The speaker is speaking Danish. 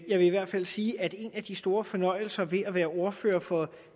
jeg vil i hvert fald sige at en af de store fornøjelser ved at være ordfører for